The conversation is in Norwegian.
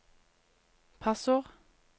passord